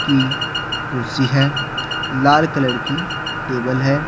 की कुर्सी है लाल कलर की टेबल है।